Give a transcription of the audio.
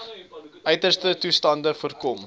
uiterste toestande voorkom